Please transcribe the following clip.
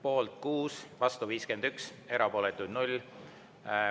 Poolt on 6, vastu 51, erapooletuid on 0.